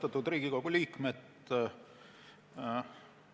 Austatud Riigikogu liikmed!